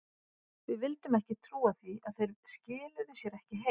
Við vildum ekki trúa því að þeir skiluðu sér ekki heim.